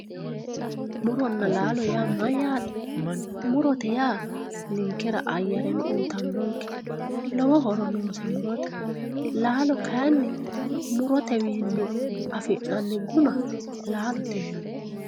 muronna laalo yaa mayyate murote yaa ninkera ayyareno uyiitannonke lowo horo noose murote laalo kayi murotewiinni afi'nanniguma laalote yinanni.